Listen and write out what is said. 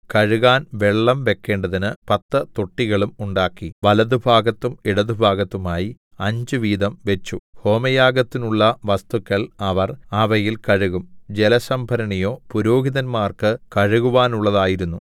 കഴുകാൻ വെള്ളം വെക്കേണ്ടതിന് പത്തു തൊട്ടികളും ഉണ്ടാക്കി വലത്തുഭാഗത്തും ഇടത്തുഭാഗത്തുമായി അഞ്ച് വീതം വെച്ചു ഹോമയാഗത്തിന്നുള്ള വസ്തുക്കൾ അവർ അവയിൽ കഴുകും ജലസംഭരണിയോ പുരോഹിതന്മാർക്ക് കഴുകുവാനുള്ളതായിരുന്നു